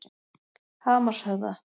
Hamarshöfða